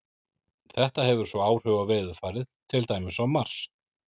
Þetta hefur svo áhrif á veðurfarið, til dæmis á Mars.